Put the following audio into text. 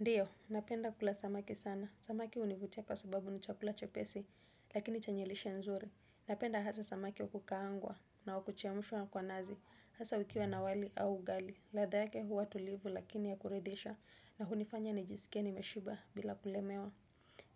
Ndio, napenda kula samaki sana. Samaki hunivutia kwa sababu ni chakula chepesi, lakini chenye lishe nzuri. Napenda hasa samaki wakukaangwa na wakuchemshwa kwa nazi. Hasa ukiwa na wali au ugali. Ladha yake huwa tulivu lakini ya kuridhisha, na hunifanya nijisikie nimeshiba bila kulemewa.